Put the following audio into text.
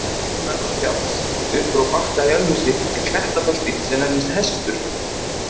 Í brún Efrafjalls upp frá Bakka í Ölfusi er klettabelti sem nefnist Hestur.